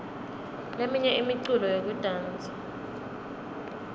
leminye imiculo yekudansa